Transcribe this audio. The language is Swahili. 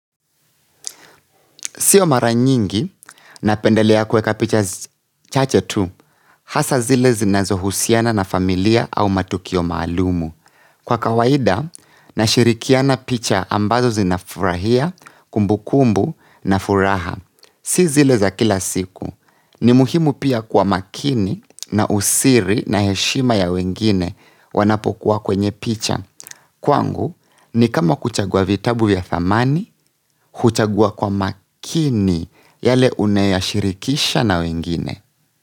Sio mara nyingi napendelea kweka picha chache tu hasa zile zinazohusiana na familia au matukio maalumu. Kwa kawaida nashirikiana picha ambazo zinafurahia, kumbu kumbu na furaha. Si zile za kila siku. Ni muhimu pia kuwa makini na usiri na heshima ya wengine wanapokuwa kwenye picha. Kwangu ni kama kuchangua vitabu vya dhamani kuchagua kwa makini yale unayashirikisha na wengine.